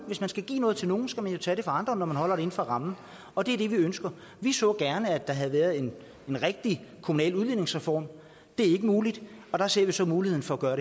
hvis man skal give noget til nogen skal man jo tage det fra andre når man holder det inden for rammen og det er det vi ønsker vi så gerne at der havde været en rigtig kommunal udligningsreform det er ikke muligt og der ser vi så muligheden for at gøre